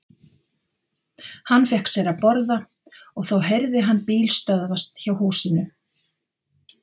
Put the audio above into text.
Hann fékk sér að borða og þá heyrði hann bíl stöðvast hjá húsinu.